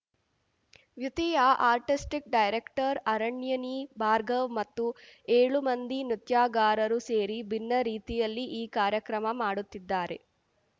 ವ್ಯುತಿಯ artistic director Aranyani Bhargav ಮತ್ತು ಏಳು ಮಂದಿ ನೃತ್ಯಗಾರರು ಸೇರಿ ಭಿನ್ನ ರೀತಿಯಲ್ಲಿ ಈ ಕಾರ್ಯಕ್ರಮ ಮಾಡುತ್ತಿದ್ದಾರೆ